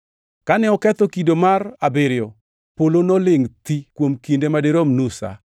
Kane oketho kido mar abiriyo, polo nolingʼ thi kuom kinde ma dirom nus sa.